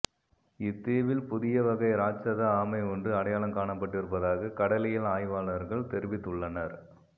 இத்தீவில் புதிய வகை இராட்சத ஆமை ஒன்று அடையாளம் காணப்பட்டிருப்பதாக கடலியல் ஆய்வாளர்கள் தெரிவித்துள்ளனர்